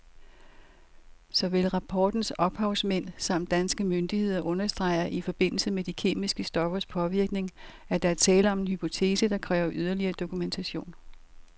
Såvel rapportens ophavsmænd samt danske myndigheder understreger i forbindelse med de kemiske stoffers påvirkning, at der er tale om en hypotese, der kræver yderligere dokumentation.